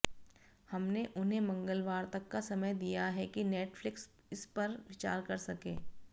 हमने उन्हें मंगलवार तक का समय दिया है कि नेटफ्लिक्स इस पर विचार कर सके